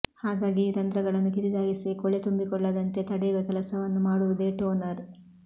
ಹಾಗಾಗಿ ಈ ರಂಧ್ರಗಳನ್ನು ಕಿರಿದಾಗಿಸಿ ಕೊಳೆ ತುಂಬಿಕೊಳ್ಳದಂತೆ ತಡೆಯುವ ಕೆಲಸವನ್ನು ಮಾಡುವುದೇ ಟೋನರ್